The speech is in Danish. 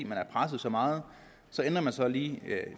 man er presset så meget ændrer man så lige